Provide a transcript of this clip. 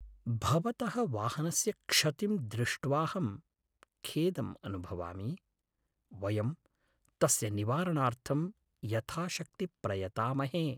भवतः वाहनस्य क्षतिं दृष्ट्वाहं खेदम् अनुभवामि। वयं तस्य निवारणार्थं यथाशक्ति प्रयतामहे।